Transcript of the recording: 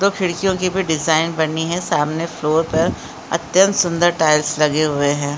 खिड़कियों की भी डिजाइन बनी है सामने फ्लोर पर अत्यंत सुंदर टाइल्स लगे हुए हैं।